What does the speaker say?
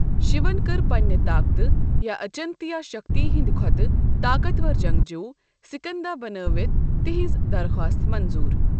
Shaven کٔر پننہِ طاقتہٕ یا اچنتیا شکتی ہنٛدۍ کھوتہٕ طاقتور جنگجو، سکندا بنٲوِتھ تہنٛز درخواست منظور۔